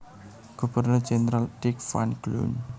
Gubernur Jendral Dirk van Cloon